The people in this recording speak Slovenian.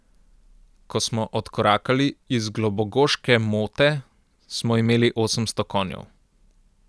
Ko smo odkorakali iz Globogoške mote, smo imeli osemsto konjev.